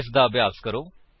ਇਸਦਾ ਅਭਿਆਸ ਕਰੋ